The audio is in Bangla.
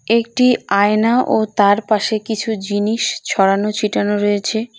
একটি আয়না ও তার পাশে কিছু জিনিস ছড়ানো ছিটানো রয়েছে।